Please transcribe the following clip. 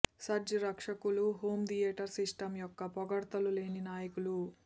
surge రక్షకులు home theatre system యొక్క పొగడ్తలు లేని నాయకులు